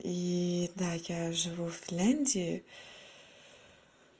и да я живу финляндии